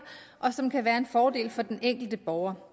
og som kan være en fordel for den enkelte borger